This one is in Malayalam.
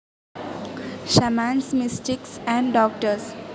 shamans, mystics and doctors